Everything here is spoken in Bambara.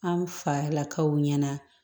An falakaw ɲɛna